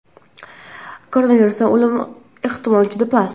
Koronavirusda o‘lim ehtimoli juda past.